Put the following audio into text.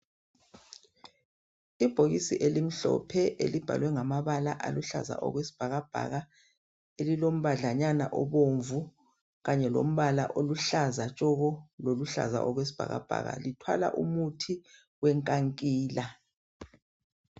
Ibhokisi elimhlophe elibhalwe ngamabala aluhlaza okwesibhakabhaka elilombadlanyana obomvu kanye lombala oluhlaza tshoko loluhlaza okwesibhakabhaka lithwalala umuthi wenkankila